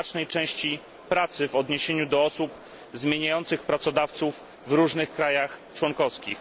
znacznej części pracy w odniesieniu do osób zmieniających pracodawców w różnych państwach członkowskich.